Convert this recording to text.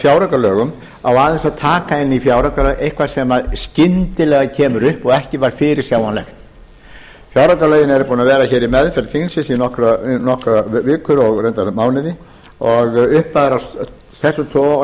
fjáraukalögum á aðeins að taka inn í fjáraukalög eitthvað sem skyndilega kemur upp og ekki var fyrirsjáanlegt fjáraukalögin eru búin að vera hér í meðferð þingsins í nokkrar vikur og reyndar mánuði og upphæðir af þessum toga og